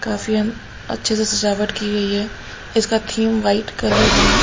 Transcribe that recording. काफी अन अच्छे से सजावट की गई है इसका थीम वाइट कलर है।